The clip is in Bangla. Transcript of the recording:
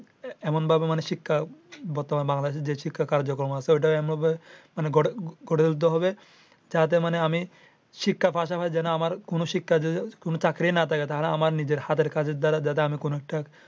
এমন ভাবে মানে শিক্ষা বর্তমানে বাংলাদেশে যে শিক্ষা কার্যকম আছে ঐটা এমন ভাবে গড়ে তুলতে হবে। যাতে মানে আমি শিক্ষার পাশাপাশি যেন আমার যদি কোনো চাকরি না থাকে তাহলে আমার হাতের কাজের দ্বারা কোনো একটা